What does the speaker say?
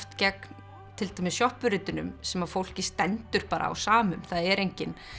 gegn til dæmis sem fólki stendur bara á sama um það er enginn